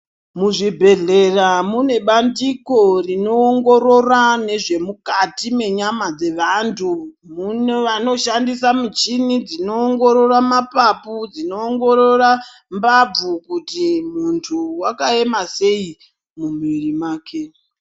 Muzvibhedhlera mune bandiko rinoongorora nezvemukati menyama dzevandu vanoshandisa muchini dzinoongorora mapapu dzinoongorora mbabvu kuti mundu wakayema seyi mumuviri make.